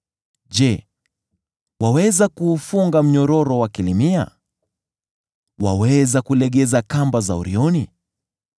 “Je, waweza kuufunga mnyororo wa Kilimia? Waweza kulegeza kamba za Orioni?